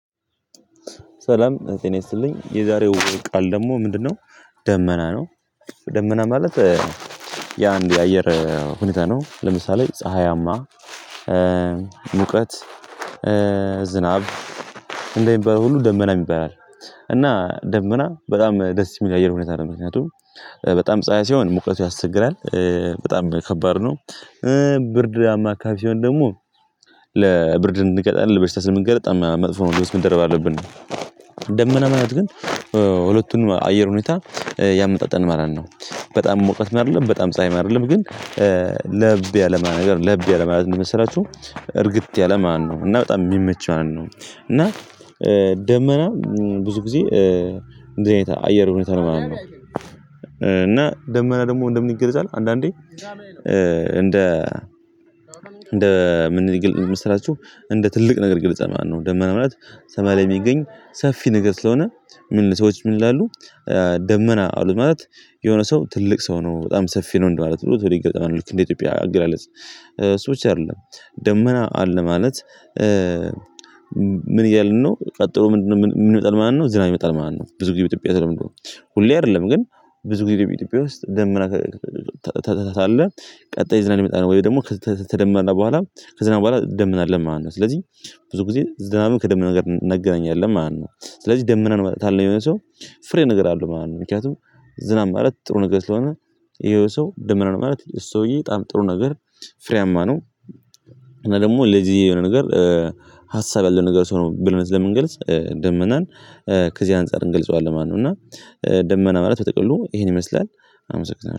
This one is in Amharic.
ሰላም እዚህ ጤና ይስጥልኝ የዛሬው ቃል ደግሞ ምንድነው? ደመና ነው። ደመና ማለት ያ አንድ የአየር ሁኔታ ነው ለምሳሌ ፀሀያማ ሙቀት ዝናብ እንደሚባለው ሁሉ ደመና ይባላል። እና ደመና በጣም ደስ የሚል የአየር ሁኔታ ነው። ለምንድነው በጣም ፀሀይ ሲሆን ሙቀቱ ያስቸግራል በጣም ከባድ ነው። ብርድማ አከባቢ ሲሆን ደግሞ ለብርድ እንገጣለን በሽታ ስንገልጥ አማካፊውን ደረብ አለብን። ደመና ማየት ግን ሁለቱን አየር ሁኔታ ያመጣጥልልናል ማለት ነው። በጣም ሙቀት አይደለም በጣም ፀሀይ አይደለም ግን ለብ ያለማ ነገር ለብ ያለማ ነው የምሰራችሁ እርግት ያለ ማለት ነው። እና በጣም የሚመች ማለት ነው እና ደመና ብዙ ጊዜ እንድህ አይነት አየር ሁኔታ ነው ማለት ነው። እና ደመና ደግሞ እንደምን ይገለጻል አንዳንዴ እንደ እንደ ምን መሰላችሁ እንደ ትልቅ ነገር ግልጽ ማለት ነው። ደመና ምክንያቱም ሰማያል የሚገኝ ሰፊ ነገር ስለሆነ ምን ሰዎች ምን ይላሉ? ደመና አሉ ማለት የሆነ ሰው ትልቅ ሰው ነው በጣም ሰፊ ነው እንደማለት ነው። ወደ ይገጥማል ልክ እንደ ኢትዮጵያ አገላለጽ ሰዎች አይደለም ደመና አለ ማለት። ምን እያልን ነው ቀጥሎ ምንድነው? የምመጣልን ማለት ነው ዝናብ ይመጣል ማለት ነው። ብዙ ጊዜ በኢትዮጵያ ስለምንድነው ሁሌ አይደለም ግን ብዙ ጊዜ በኢትዮጵያ ውስጥ ደመና ታታታለህ ቀጣይ ዝናን ይመጣል ወይ ደግሞ ከተደመነ በኋላ ከዝናብ በኋላ ደመና አለ ማለት ነው። ስለዚህ ብዙ ጊዜ ዝናብን ከደመና ጋር አናገናኛለን ማለት ነው። ስለዚህ ደመና ነው ማለት ካልነው የሆነ ሰው የሆነ ሰው ፍሬ ነገር አለው ማለት ነው። ምክንያቱም ዝናብ ማለት ጥሩ ነገር ስለሆነ ይሄው ሰው ደመና ነው ማለት እሱ ሰውዬ በጣም ጥሩ ነገር ፍሬያማ ነው። እና ደግሞ ለዚህ የሆነ ነገር ሀሳብ ያለው ነገር ሰው ነው ብለን ስለምንገልጽ ደመናን ከዚህ አንፃር እንገልጸዋለን ማለት ነው። እና ደመና ማለት በጥቅሉ ይሄን ይመስላል። አመስግናለሁ